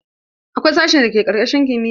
Akwai sashen da ke karkashin kimiya.